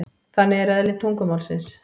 Þannig er eðli tungumálsins.